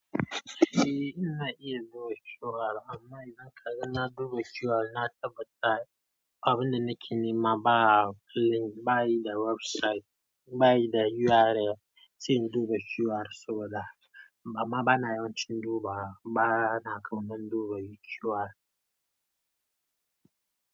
Eh ina iya duba QR amma idan ka gan na duba QR na tabbata abin da nake nema ba link, ba yi da website, ba yi da URL, sai in duba QR saboda amma bana yawan cin duba bana kauna duba QR.